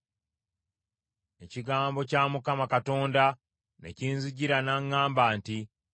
Ekigambo kya Mukama Katonda ne kinzijira, n’aŋŋamba nti,